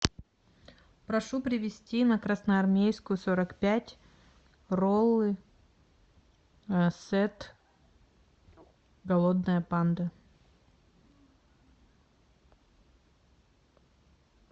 прошу привести на красноармейскую сорок пять роллы сет голодная панда